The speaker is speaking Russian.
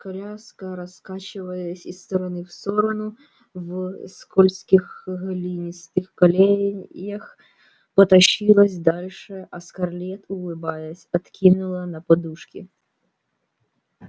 коляска раскачиваясь из стороны в сторону в скользких глинистых колеях потащилась дальше а скарлетт улыбаясь откинула на подушки